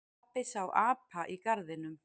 Pabbi sá apa í garðinum.